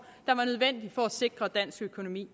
der var nødvendig for at sikre dansk økonomi